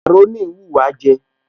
Màkàrónì ń wùwá jẹ